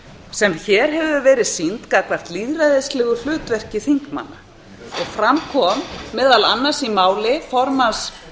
sem hér hefur verið sýnd gagnvart lýðræðislegu hlutverki þingmanna og fram kom meðal annars í máli formanns